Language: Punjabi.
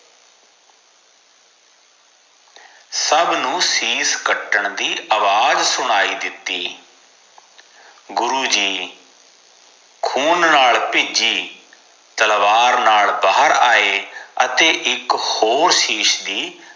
ਸਬ ਨੂੰ ਸ਼ਿਸ਼ ਕੱਟਣ ਦੀ ਅਵਾਜ ਸੁਣਾਈ ਦਿਤੀ ਗੁਰੂਜੀ ਖੂਨ ਨਾਲ ਭਿਜੀ ਤਲਵਾਰ ਨਾਲ ਬਹਾਰ ਆਏ ਅਤੇ ਇਕ ਹੋਰ ਸ਼ਿਸ਼ ਦੀ